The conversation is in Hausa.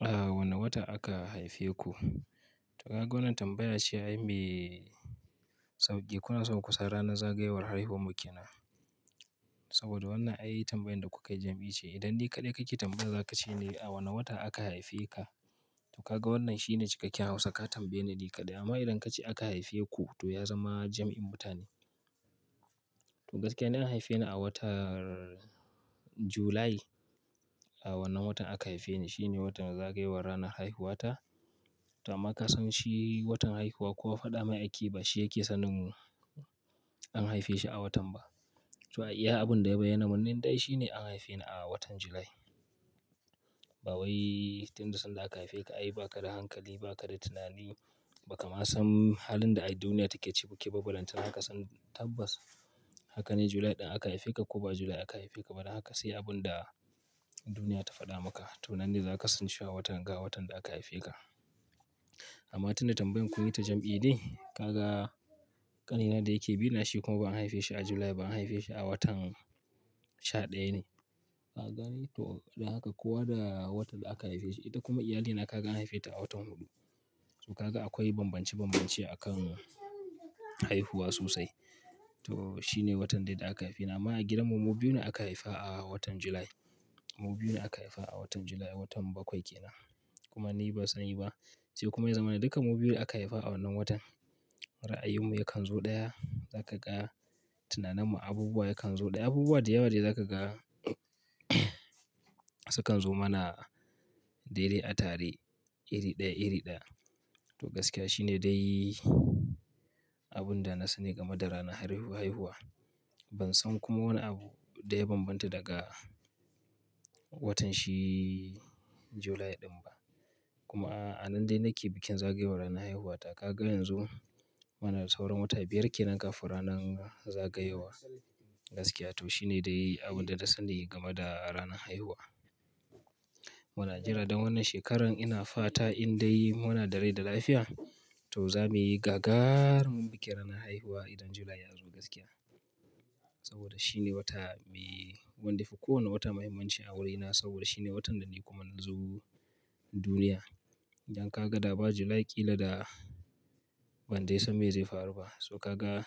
A wane wata aka haife ku? To kaga wannan tambaya ce ai me sauki kuna so ku san ranar zagayowar haihuwar mu kenan saboda wannan ai tambayan da kuka jam'i ce idan ni kaɗai kake tambaya za ka ce ne a wane wata aka haife ka. To kaga wannan shine cikakken hausa ka tambaye ni kaɗai. Amma idan ka ce aka haife ku to ya zama jam'in mutane. To gaskiya ni an haife ni a watar July. A wannan watan aka haife ni. Shi ne watan zagayowar ranar haihuwa ta. To amma ka san shi watan haihuwa kowa faɗa mai ake ba shi yake sanin an haife shi a watan ba. To ai iya abun da ya bayyana mun nan dai shi ne an haife ni a watan July. Ba wai tunda sanda aka haife ka ai ba ka da hankali, ba ka da tunani, ba ka ma san halin da ai duniya take ciki ba. Balantana haka san tabbas haka ne July ɗin aka haife ka ko ba July aka haife ka ba. Da haka sai abun da duniya ta faɗa maka to nan dai za ka san sha watan ga watan da aka haife ka. Amma tun da tambayan kun yi ta jam'i ne, kaga ƙanina da yake bi na shi kuma ba an haife shi a July ba an haife shi a watan sha ɗaya ne. Ka gane? To don haka. Kowa da watan da aka haife shi. Ita kuma iyalina ka gan haife ta a watan huɗu. To kaga akwai bambance bambance akan haihuwa sosai. To shi ne watan dai aka haife ni. Amma a gidanmu mu biyun ne aka haifa a watan July. Mu biyu ne aka haifa a watan July, watan bakwai kenan kuma ni ban sani ba. Sai kuma ya zama duka mu biyu aka haifa a wannan watan. Ra'ayinmu yakan zo ɗaya, za ka ga. Tunaninmu, abubuwa yakan zo ɗaya. Abubuwa da yawa dai za ka ga sukan zo mana daidai a tare iri ɗaya iri ɗaya. To gaskiya shi ne dai abun da na sani game da ranar haihuwa. Ban san kuma wani abu da ya bambanta daga watanshi July ɗin ba. Kuma a nan dai nake bikin zagayowar ranar haihuwa ta. Ka ga yanzu muna da sauran wata biyar ke nan kafin ranan zagayowa. Gaskiya to shi ne dai abun da na sani game da ranar haihuwa. Muna jira don wannan shekaran ina fata in dai muna da rai da lafiya to za mu yi gagarumin bikin ranar haihuwa idan July ya zo gaskiya. Saboda shine wata me wanda yafi kowane wata muhimmanci a wurina saboda shine watan da ni kuma nazo duniya, don kaga da ba July kila da ban dai san me zai faru ba. So ka ga